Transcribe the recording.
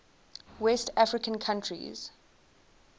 west african countries